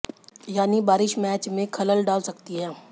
यानी बारिश मैच में खलल डाल सकती है